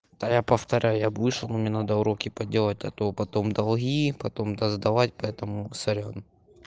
да я повторяю я б вышел мне надо уроки поделать а то потом долги потом досдавать поэтому сорян